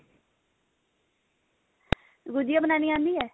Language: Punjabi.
ਗੁਝੀਆ ਬਣਾਉਣੀ ਆਉਂਦੀ ਹੈ